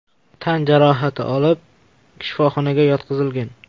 tan jarohati olib shifoxonaga yotqizilgan.